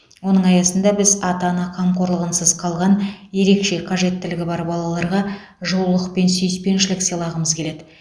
оның аясында біз ата ана қамқорлығынсыз қалған ерекше қажеттілігі бар балаларға жылулық пен сүйіспеншілік сыйлағымыз келеді